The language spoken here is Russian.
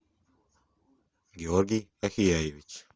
георгий ахияевич